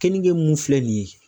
Keninge mun filɛ nin ye.